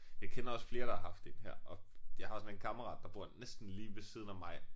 Jeg kender også flere der har haft én her og jeg har også sådan en kammerat der bor næsten lige ved siden af mig